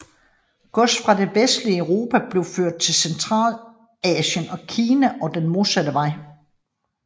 Gods fra det vestlige Europa blev ført til Centralasien og Kina og den modsatte vej